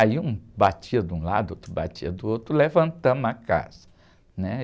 Aí um batia de um lado, outro batia do outro, levantamos a casa.